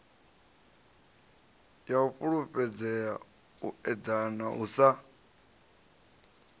fhulufhedzea u eḓana u sa